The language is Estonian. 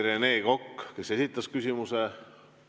Rene Kokk esitas küsimuse.